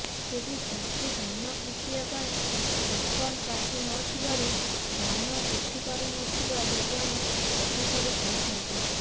ତେବେ ଚାଷୀ ଧାନ ବିକିବା ପାଇଁ ଟୋକନ୍ କାଟି ନ ଥିବାରୁ ଧାନ ଉଠିପାରୁନଥିବା ଯୋଗାଣ ଅଧିକାରୀ କହୁଛନ୍ତି